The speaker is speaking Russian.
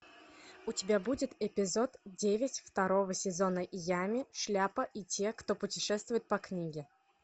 у тебя будет эпизод девять второго сезона ями шляпа и те кто путешествуют по книге